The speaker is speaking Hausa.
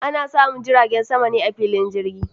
Ana samun jiragen sama ne a filin jirgi.